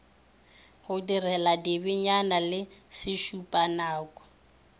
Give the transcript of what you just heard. go direla dibenyane le sešupanako